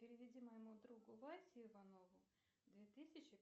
переведи моему другу васе иванову две тысячи